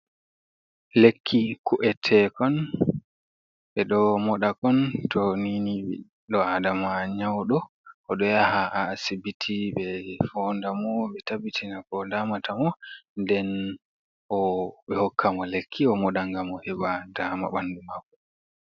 Lekki ku’etekon ɓe ɗo moɗakon to nini ɓiɗɗo aɗama nyauɗo, oɗo yaha a asiɓiti ɓe fonɗamo ɓe taɓɓitina ko ɗamata mo, nɗen ɓe hokka mo lekki o moɗa gam o heɓa ɗama ɓanɗu maako.